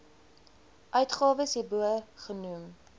uitgawes hierbo genoem